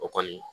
O kɔni